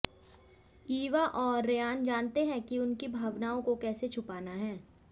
ईवा और रयान जानते हैं कि उनकी भावनाओं को कैसे छिपाना है